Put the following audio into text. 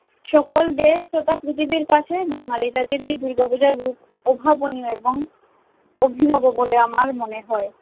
সকল দেশ তথা পৃথিবীর কাছে বাঙালি জাতির এই দুর্গাপূজার রূপ অভাবনীয় এবং অভিনব বলে আমার মনে হয়।